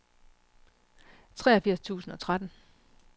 treogfirs tusind og tretten